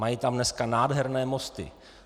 Mají tam dneska nádherné mosty.